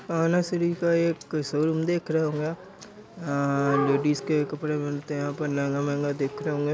आना श्री का एक शो रूम दिख रहा रहा होगा। अ लेडिज के कपड़े मिलते हैं पर महंगे महंगे दिख रहे होंगे।